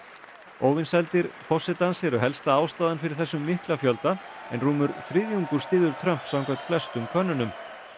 óvinsældir forsetans eru helsta ástæðan fyrir þessum mikla fjölda en rúmur þriðjungur styður Trump samkvæmt flestum könnunum